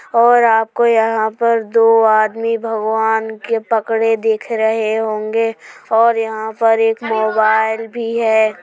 और आपको यहाँ पर दो आदमी भगवान के पकड़े दिख रहे होंगे और यहाँ पर एक मोबाईल भी है।